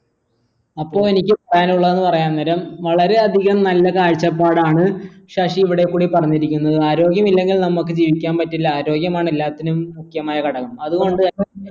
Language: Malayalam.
അപ്പൊ എനിക്ക് പറയാനുള്ളതെന്ന് പറയാൻ നേരം വളരെ അധികം നല്ല കാഴ്ചപ്പാടാണ് ശശി ഇവിടെ കൂടി പറഞ്ഞിരിക്കുന്നത് ആരോഗ്യമില്ലെങ്കിൽ നമ്മക്ക് ജീവിക്കാൻ പറ്റില്ല ആരോഗ്യമാണ് എല്ലാത്തിനും മുഖ്യമായ ഘടകം അത്കൊണ്ട് തന്നെ